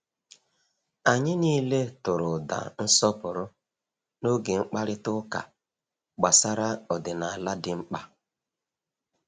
Anyị niile tụrụ ụda nsọpụrụ n’oge mkparịta ụka gbasara ọdịnala dị mkpa.